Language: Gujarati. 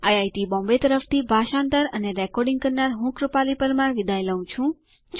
આઇઆઇટી બોમ્બે તરફથી ભાષાંતર કરનાર હું કૃપાલી પરમાર વિદાય લઉં છું